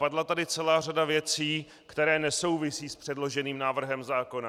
Padla tady celá řada věcí, které nesouvisí s předloženým návrhem zákona.